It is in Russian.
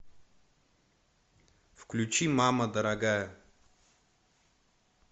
включи мама дорогая